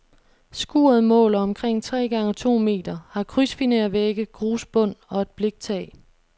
Skuret måler omkring tre gange to meter, har krydsfinervægge, grusbund og et bliktag.